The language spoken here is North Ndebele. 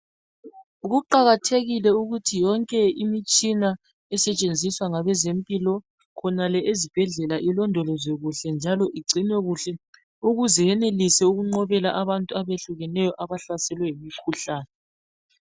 Kuqakathekile ukuthi yonke imitshina esetshenziswa ngabezempilo khonale ezibhedlela . Ilondolozwe kuhle njalo igcinwe kuhle ukuze yenelise ukunqobela abantu abehlukeneyo abahlaselwe yimikhuhlane.